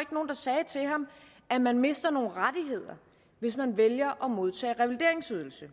ikke nogen der sagde til ham at man mister nogle rettigheder hvis man vælger at modtage revalideringsydelse